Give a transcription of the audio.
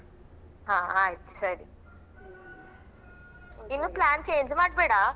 ಹಾ ಆಯ್ತು ಸರಿ okay ಇನ್ನು plan change ಮಾಡ್ಬೇಡಾ?